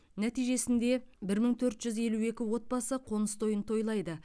нәтижесінде бір мың төрт жүз елу екі отбасы қоныс тойын тойлайды